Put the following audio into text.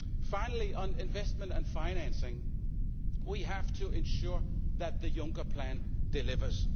Finally, on investment and financing we have to ensure that the Juncker plan delivers.